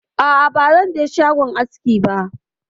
A'a bazan je shagon aski ba.